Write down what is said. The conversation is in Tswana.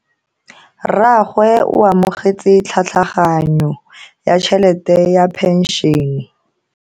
Rragwe o amogetse tlhatlhaganyo ya tšhelete ya phenšene.